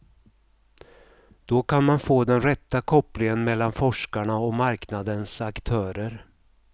Då kan man få den rätta kopplingen mellan forskarna och marknadens aktörer.